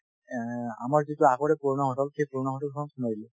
এহ্, আমাৰ যিটো আগৰে পুৰণা hotel সেই পুৰণা hotel খনত সোমাই দিলো